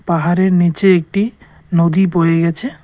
পাহাড়ের নীচে একটি নদী বয়ে গেছে।